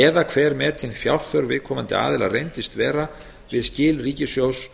eða hver metin fjárþörf viðkomandi aðila reyndist vera við skil ríkissjóðs